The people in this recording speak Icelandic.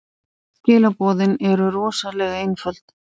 Skilaboðin eru rosalega einföld.